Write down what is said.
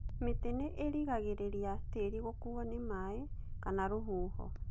mĩtĩ nĩ rĩngangĩrĩria tĩri gũkuo nĩ maaĩ kama rũhuho